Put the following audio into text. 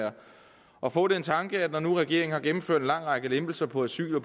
at få den tanke at når nu regeringen har gennemført en lang række lempelser på asyl og